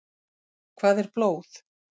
Hvað er blóð?